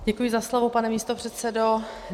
Děkuji za slovo, pane místopředsedo.